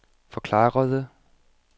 forklarede